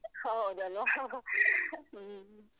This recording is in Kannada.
ಹೌದಲ್ವಾ? ಹ್ಮ.